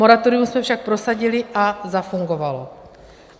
Moratorium jsme však prosadili a zafungovalo.